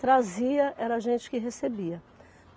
Trazia, era a gente que recebia.